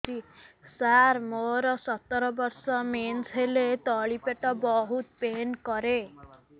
ସାର ମୋର ସତର ବର୍ଷ ମେନ୍ସେସ ହେଲେ ତଳି ପେଟ ବହୁତ ପେନ୍ କରେ